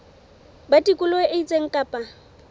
ba tikoloho e itseng kapa